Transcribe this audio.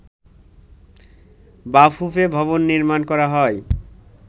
বাফুফে ভবন নির্মাণ করা হয়